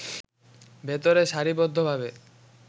ভেতরে সারি বদ্ধ ভাবে